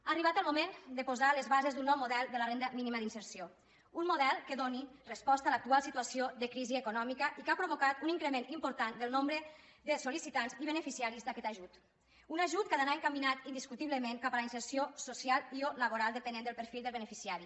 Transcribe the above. ha arribat el moment de posar les bases d’un nou model de la renda mínima d’inserció un model que doni resposta a l’actual situació de crisi econòmica i que ha provocat un increment important del nombre de sol·licitants i beneficiaris d’aquest ajut un ajut que ha d’anar encaminat indiscutiblement cap a la inserció social i o laboral depenent del perfil del beneficiari